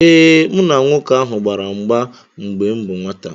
Ee,m na nwoke ahụ gbara mgba mgbe m bụ nwata